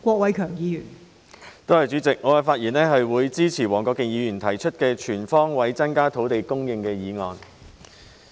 代理主席，我發言支持黃國健議員提出的"全方位增加土地供應"議案。